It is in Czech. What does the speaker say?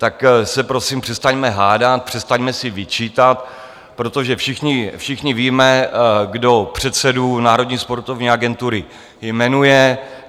Tak se prosím přestaňme hádat, přestaňme si vyčítat, protože všichni víme, kdo předsedu Národní sportovní agentury jmenuje.